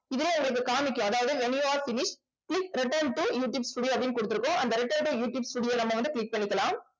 இதுல உங்களுக்கு காமிக்கும். அதாவது when you are finish please return toyou tube studio அப்படின்னு கொடுத்திருக்கோம் அந்த return to you tube studio நம்ம வந்து click பண்ணிக்கலாம்